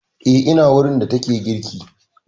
Eh ina wurin, yayin da take girki